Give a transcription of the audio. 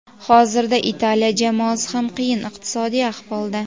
hozirda Italiya jamoasi ham qiyin iqtisodiy ahvolda.